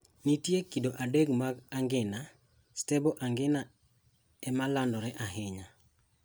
Nitiere kido adek mag angina: Stable angina e ma landore ahinya.